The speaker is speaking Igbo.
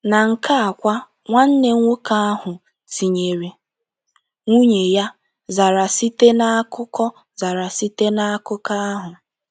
Na nke a kwa, nwanne nwoke ahụ, tinyere nwunye ya, zara site n’akụkọ zara site n’akụkọ ahụ.